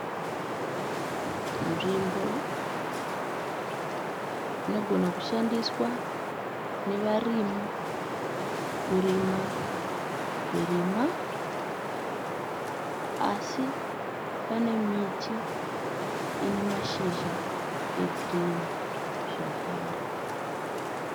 Nzvimbo inogona kushandiswa nevarimi kurima zvirimwa asi pane miti ine mashizha egirini zvakare.